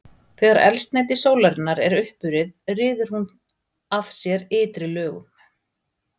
Þegar eldsneyti sólarinnar er uppurið ryður hún af sér ytri lögunum.